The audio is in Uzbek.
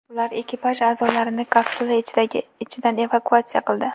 Ular ekipaj a’zolarini kapsula ichidan evakuatsiya qildi.